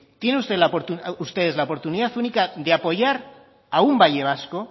tienen ustedes la oportunidad única de apoyar a un valle vasco